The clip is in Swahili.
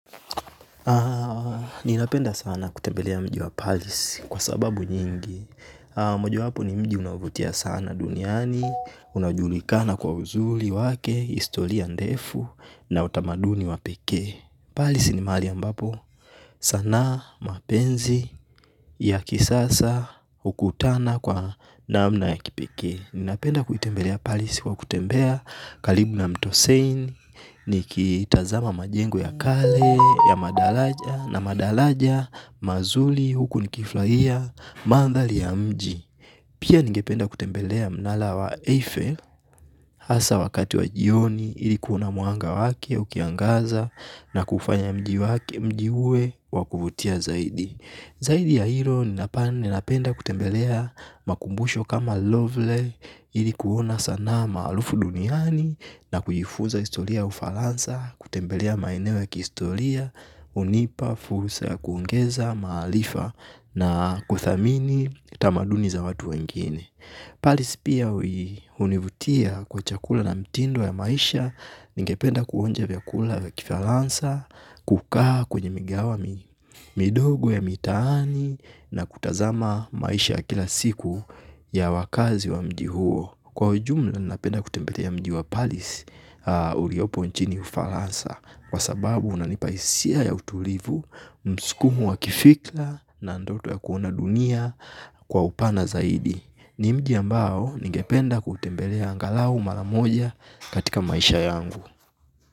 Ninapenda sana kutembelea mji wa Paris kwa sababu nyingi mojawapo ni mji unaovutia sana duniani. Kunajulikana kwa uzuri wake, historia ndefu na utamaduni wa pekee. Paris ni mahali ambapo sanaa, mapenzi ya kisasa hukutana kwa namna ya kipekee. Ninapenda kutembelea Paris kwa kutembea karibu na mto Seine nikitazama majengo ya kazi ya madaraja na madaraja mazuri huku nikifurahia mandhari ya mji pia ningependa kutembelea mnara wa Eiffel hasa wakati wa jioni ili kuona mwanga wake ukiangaza na kufanya mji uwe wa kuvutia zaidi zaidi ya hilo ninapenda kutembelea makumbusho kama lovely ili kuona sanaa maarufu duniani na kujifunza historia ya Ufaransa, kutembelea maeneo ya kihistoria, hunipa fursa ya kuongeza, maarifa na kuthamini tamaduni za watu wengine Paris pia hunivutia kwa chakula na mtindo ya maisha ningependa kuonja vyakula ya Kifaransa, kukaa kwenye migahawa midogo ya mitaani na kutazama maisha ya kila siku ya wakazi wa mji huo. Kwa ujumla napenda kutembelea mji wa Paris uliopo nchini Ufaransa, kwa sababu unanipa hisia ya utulivu, mskumo wa kifikra na ndoto ya kuona dunia kwa upana zaidi. Ni mji ambao ningependa kutembelea angalau mara moja katika maisha yangu.